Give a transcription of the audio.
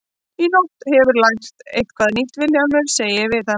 Í nótt hefurðu lært eitthvað nýtt Vilhjálmur, segi ég við hann.